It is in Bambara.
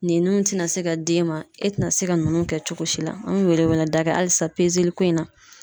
Ninnun ti na se ka d'e ma, e te na se ka ninnu kɛ cogo si la. An be wele wele da kɛ hali sisan ko in na.